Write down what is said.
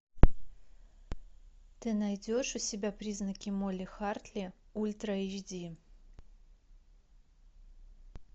ты найдешь у себя призраки молли хартли ультра эйч ди